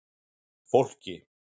Fólki